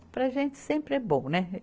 Para a gente sempre é bom, né?